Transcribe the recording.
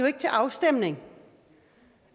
ikke til afstemning